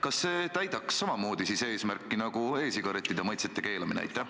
Kas see täidaks samamoodi eesmärki nagu e-sigarettide maitsete keelamine?